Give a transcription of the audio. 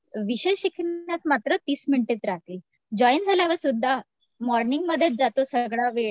विषय शिकण्यात मात्र तीस मिनिटेच राहतील जॉईन झाल्यावर सुद्धा मॉर्निंग मध्येच जातो सगळं वेळ